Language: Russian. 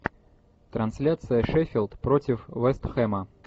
трансляция шеффилд против вест хэма